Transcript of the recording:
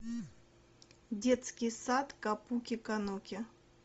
детский сад капуки кануки